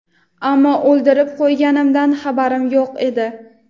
ammo o‘ldirib qo‘yganimdan xabarim yo‘q edi.